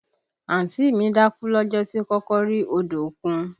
Àǹtí mi dákú lọ́jọ́ tí ó kọ́kọ́ rí odò òkun